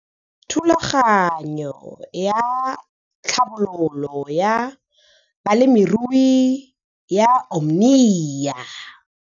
Thulaganyo ya Tlhabololo ya Balemirui ya Omnia